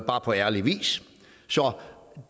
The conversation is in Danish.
bare på ærlig vis så